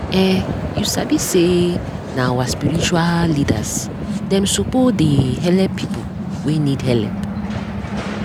eh u sabi say nah our spiritua leaders dem suppo dey helep pipu wey need helep